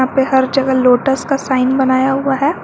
यहां पे हर जगह लोटस का साइन बनाया हुआ है।